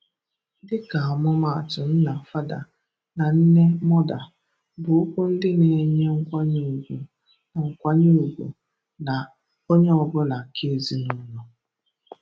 Dịka ọmụmaatụ, “nnà” (father) na “nnẹ̀” (mother) bụ okwu ndị na-enye nkwanye ùgwù ná nkwanye ùgwù ná onye ọ bụla nke ezinụlọ.